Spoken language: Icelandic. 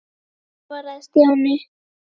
Já svaraði Stjáni.